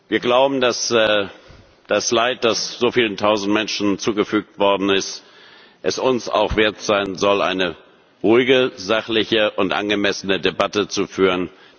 Wir glauben, dass das Leid, das so vielen tausend Menschen zugefügt worden ist, es uns auch wert sein soll, eine ruhige, sachliche und angemessene Debatte zu führen.